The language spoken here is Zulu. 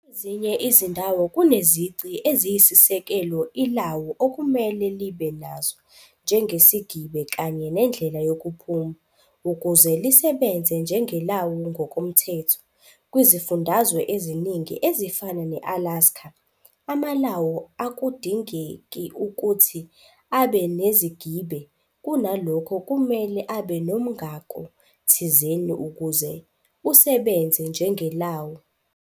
Kwezinye izindawo kunezici eziyisisekelo ilawu ekumele libe nazo, njengesigibe kanye "nendlela yokuphuma", ukuze lisebenze njengelawu ngokomthetho. Kwizifundazwe eziningi ezifana ne-Alaska, amalawu akudingeki ukuthi abe nezigibe, kunalokho kumele abe nomngako thizen ukuze usebenze njengelawu.